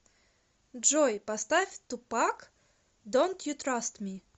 джой поставь тупак донт ю траст ми